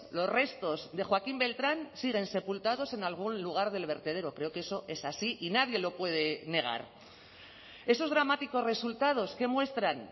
los restos de joaquín beltrán siguen sepultados en algún lugar del vertedero creo que eso es así y nadie lo puede negar esos dramáticos resultados qué muestran